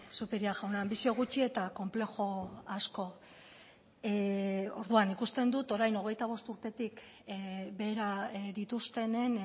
zupiria jauna anbizio gutxi eta konplexu asko orduan ikusten dut orain hogeita bost urtetik behera dituztenen